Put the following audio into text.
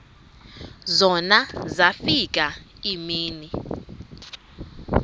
zona zafika iimini